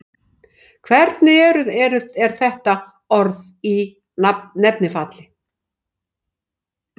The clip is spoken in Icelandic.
hvernig er þetta orð í nefnifalli